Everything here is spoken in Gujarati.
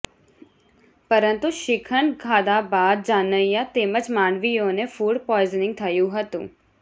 પરંતુ શીખંડ ખાધા બાદ જાનૈયા તેમજ માંડવીયાને ફુડ પોઈઝનીંગ થયું હતું